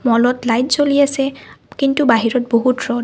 হলত লাইট জ্বলি আছে কিন্তু বাহিৰত বহুত ৰ'দ।